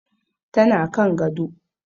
Tana kan gado.